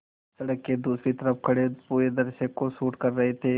सड़क के दूसरी तरफ़ खड़े पूरे दृश्य को शूट कर रहे थे